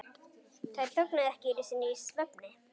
Þær þögnuðu ekki einu sinni í svefni.